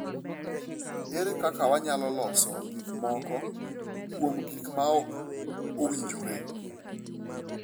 Ere kaka wanyalo loso gik moko kuom gik ma ok owinjore?